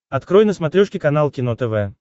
открой на смотрешке канал кино тв